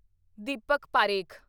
Deepak Parekh